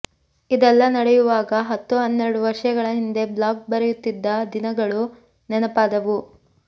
ಇದೆಲ್ಲಾ ನಡೆಯುವಾಗ ಹತ್ತು ಹನ್ನೆರಡು ವರ್ಷಗಳ ಹಿಂದೆ ಬ್ಲಾಗ್ ಬರೆಯುತ್ತಿದ್ದ ದಿನಗಳು ನೆನಪಾದವು